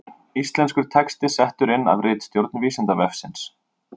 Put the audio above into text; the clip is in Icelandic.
Íslenskur texti settur inn af ritstjórn Vísindavefsins